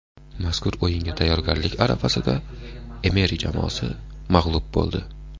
Mazkur o‘yinga tayyorgarlik arafasida Emeri jamoasi mag‘lub bo‘ldi.